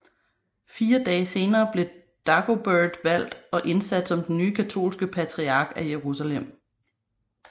Fire dage senere blev Dagobert valgt og indsat som den nye katolske patriark af Jerusalem